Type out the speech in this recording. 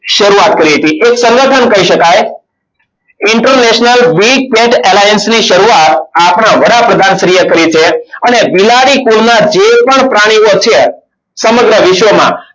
શરૂઆત કરી હતી. એ શરૂઆત પણ કહી શકાય. international Big tat alliance ની શરૂઆત આપણા વડાપ્રધાન શ્રી એ કરી છે. અને બિલાડી કુળના જે પણ પ્રાણીઓ છે. સમગ્ર વિશ્વમાં